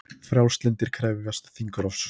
Frjálslyndir krefjast þingrofs